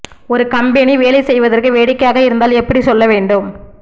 ஒரு கம்பெனி வேலை செய்வதற்கு வேடிக்கையாக இருந்தால் எப்படி சொல்ல வேண்டும்